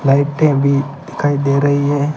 लाइटे भी दिखाई दे रही हैं।